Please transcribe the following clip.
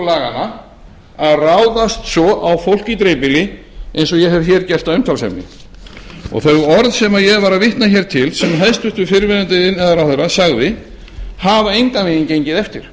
laganna að ráðast svo á fólk í dreifbýli eins og ég hef hér gert að umtalsefni þau orð sem ég var að vitna hér til sem hæstvirtur fyrrverandi iðnaðarráðherra sagði hafa engan veginn gengið eftir